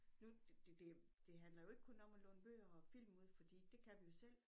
Nu det det handler jo ikke kun om at låne bøger og film ud fordi det kan vi jo selv